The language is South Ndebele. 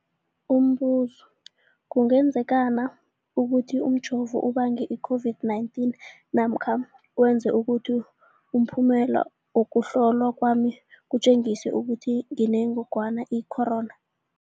Umbuzo, kungenzekana ukuthi umjovo ubange i-COVID-19 namkha wenze ukuthi umphumela wokuhlolwa kwami utjengise ukuthi nginengogwana i-corona?